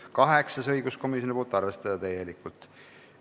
Kaheksas on õiguskomisjonilt, arvestada täielikult.